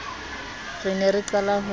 re ne re qala ho